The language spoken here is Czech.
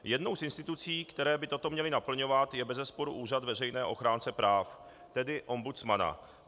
Jednou z institucí, které by toto měly naplňovat, je bezesporu Úřad veřejného ochránce práv, tedy ombudsmana.